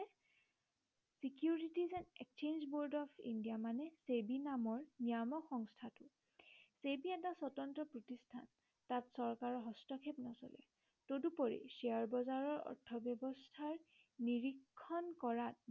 exchange board of india মানে ছেবি নামৰ নিয়ামক সংস্থাটো ছেবি এটো স্বতন্ত্ৰ প্ৰতিষ্ঠান। তাত চৰকাৰৰ হস্তক্ষেপ নচলে তদুপৰি শ্বেয়াৰ বজাৰৰ অৰ্থব্য়ৱস্থাৰ নিৰিক্ষণ কৰাত